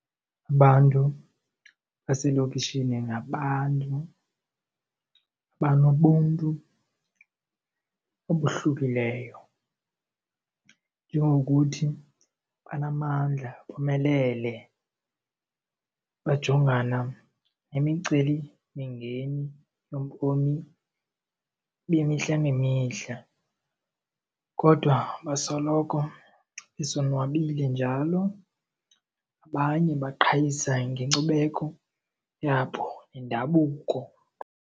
Abantu baselokishini ngabantu abanobuntu obohlukileyo njengokuthi banamandla, bomelele. Bajongana nemicelimingeni bobomi bemihla ngemihla kodwa basoloko besonwabile njalo, abanye baqhayisa ngenkcubeko yabo nendabuko.